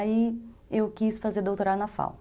Aí, eu quis fazer doutorado na FAO.